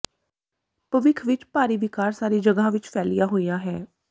ਭਵਿਖ ਵਿਚ ਭਾਰੀ ਵਿਕਾਰ ਸਾਰੀ ਜਗ੍ਹਾ ਵਿਚ ਫੈਲਿਆ ਹੋਇਆ ਹੈ